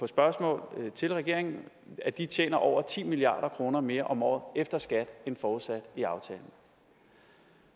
spørgsmål til regeringen tjener over ti milliard kroner mere om året efter skat end forudsat i aftalen